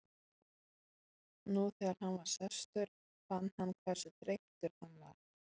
Nú þegar hann var sestur fann hann hversu þreyttur hann var.